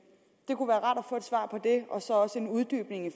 og så også en uddybning af